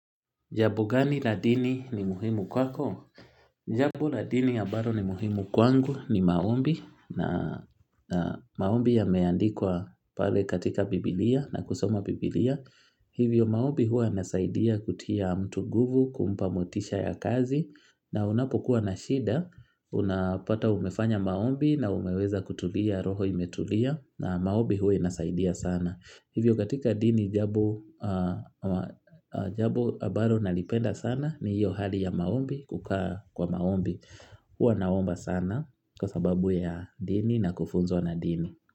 Jambo gani la dini ni muhimu kwako? Jambo la dini ambalo ni muhimu kwangu ni maombi na maombi yameandikwa pale katika Bibilia, na kusoma Bibilia hivyo maombi huwa yanasaidia kutia mtu nguvu kumpa motisha ya kazi na unapokuwa na shida unapata umefanya maombi na umeweza kutulia roho imetulia na maombi huwa inasaidia sana hivyo katika dini jambo ambalo nalipenda sana ni hiyo hali ya maombi kukaa kwa maombi huwa naomba sana kwa sababu ya dini na kufunzwa na dini.